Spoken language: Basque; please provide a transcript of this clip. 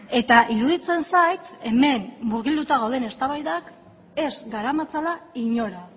eta iruditzen zait hemen murgilduta gauden eztabaidak ez garamatzala inora